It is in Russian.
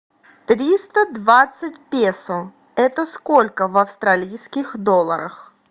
триста двадцать песо это сколько в австралийских долларах